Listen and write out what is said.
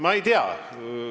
Ma ei tea.